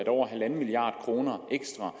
over en milliard kroner ekstra